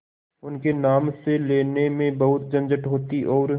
उनके नाम से लेने में बहुत झंझट होती और